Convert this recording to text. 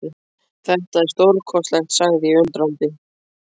Þetta er stórkostlegt sagði ég undrandi.